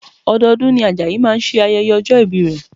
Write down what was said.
Ọdọọdún ni Ajayi máa ṣe ayẹyẹ ọjọ́ ìbí rẹ̀